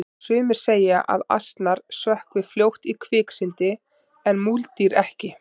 sumir segja að asnar sökkvi fljótt í kviksyndi en múldýr ekki